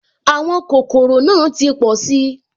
Àwọn kòkòrò náà ti pọ̀si